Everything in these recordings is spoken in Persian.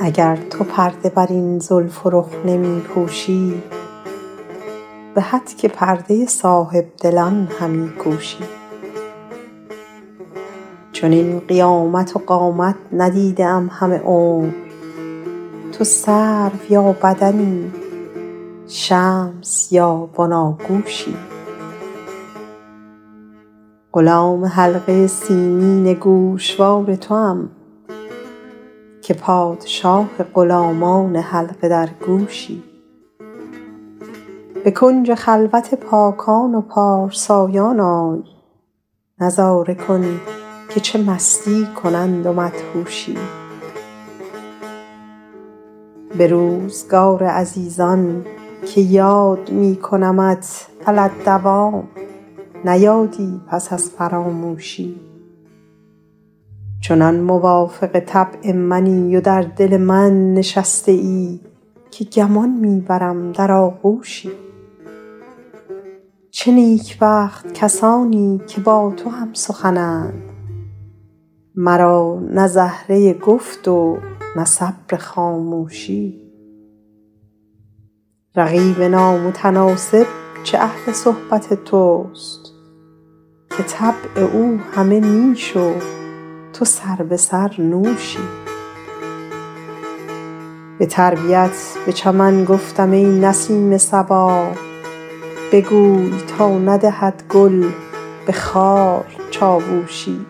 اگر تو پرده بر این زلف و رخ نمی پوشی به هتک پرده صاحب دلان همی کوشی چنین قیامت و قامت ندیده ام همه عمر تو سرو یا بدنی شمس یا بناگوشی غلام حلقه سیمین گوشوار توام که پادشاه غلامان حلقه درگوشی به کنج خلوت پاکان و پارسایان آی نظاره کن که چه مستی کنند و مدهوشی به روزگار عزیزان که یاد می کنمت علی الدوام نه یادی پس از فراموشی چنان موافق طبع منی و در دل من نشسته ای که گمان می برم در آغوشی چه نیکبخت کسانی که با تو هم سخنند مرا نه زهره گفت و نه صبر خاموشی رقیب نامتناسب چه اهل صحبت توست که طبع او همه نیش و تو سربه سر نوشی به تربیت به چمن گفتم ای نسیم صبا بگوی تا ندهد گل به خار چاووشی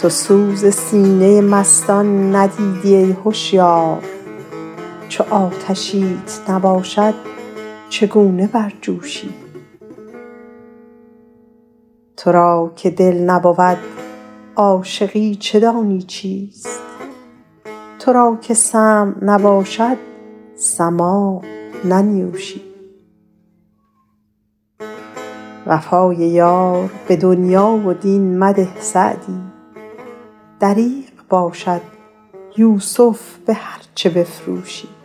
تو سوز سینه مستان ندیدی ای هشیار چو آتشیت نباشد چگونه برجوشی تو را که دل نبود عاشقی چه دانی چیست تو را که سمع نباشد سماع ننیوشی وفای یار به دنیا و دین مده سعدی دریغ باشد یوسف به هرچه بفروشی